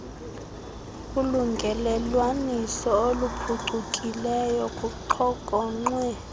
ulungelelwaniso oluphucukileyo kuxhokonxwe